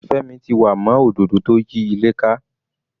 Femi ti wà mọ́ òdodo tó yí ilé ká.